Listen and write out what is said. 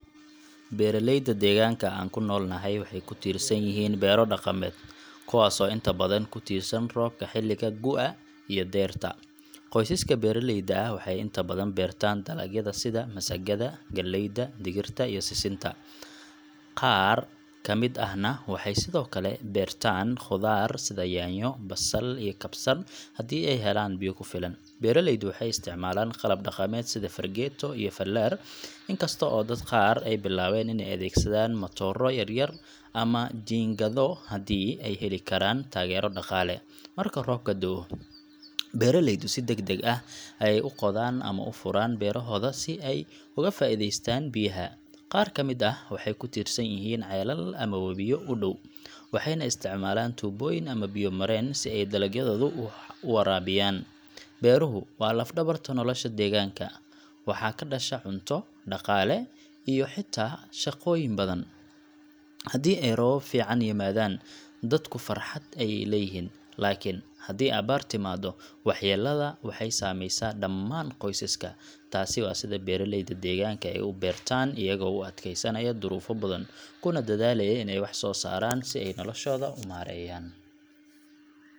Beeralayda deegaanka aanu ku noolnahay waxay ku tiirsan yihiin beero dhaqameed, kuwaasoo inta badan ku tiirsan roobka xilliga gu’a iyo dayrta. Qoysaska beeraleyda ah waxay inta badan beertaan dalagyada sida masagada, galleyda, digirta, iyo sisinta. Qaar ka mid ah na waxay sidoo kale beertaan khudaar sida yaanyo, basal, iyo kabsar haddii ay helaan biyo ku filan. Beeraleydu waxay isticmaalaan qalab dhaqameed sida fargeeto iyo fallaar, inkasta oo dad qaar ay bilaabeen inay adeegsadaan matooro yar-yar ama jiingado haddii ay heli karaan taageero dhaqaale. Marka roobka da’o, beeraleydu si degdeg ah ayay u qodaan ama u furaan beerahooda si ay uga faa’iideystaan biyaha. Qaar ka mid ah waxay ku tiirsan yihiin ceelal ama wabiyo u dhow, waxayna isticmaalaan tuubooyin ama biyo mareen si ay dalagyadooda u waraabiyaan. Beeruhu waa laf-dhabarta nolosha deegaanka. Waxaa ka dhasha cunto, dhaqaale, iyo xitaa shaqooyin badan. Haddii ay roobab fiican yimaadaan, dadku farxad ayay leeyihiin. Laakiin haddii abaar timaado, waxyeellada waxay saameysaa dhammaan qoysaska. Taasi waa sida beeraleyda deegaanka ay u beertaan, iyagoo u adkeysanaya duruufo badan, kuna dadaalaya inay wax soo saaraan si ay noloshooda u maareeyaan.